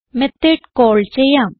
method call ചെയ്യാം